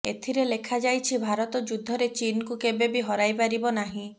ଏଥିରେ ଲେଖାଯାଇଛି ଭାରତ ଯୁଦ୍ଧରେ ଚୀନକୁ କେବେ ବି ହରାଇ ପାରିବ ନାହିଁ